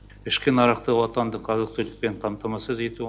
ішкі нарықты отандық азық түлікпен қамтамасыз ету